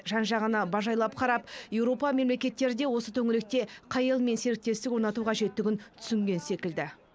жан жағына бажайлап қарап еуропа мемлекеттері де осы төңіректе қай елмен серіктестік орнату қажеттігін түсінген секілді